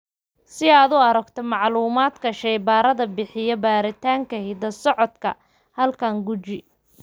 Si aad u aragto macluumaadka shaybaarada bixiya baaritaanka hidda-socodka ee Hallermann Streiff syndrome halkan guji.